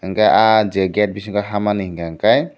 angkhe ah je gate bisingo habmani hingka kei.